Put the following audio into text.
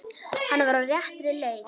Hann var á réttri leið.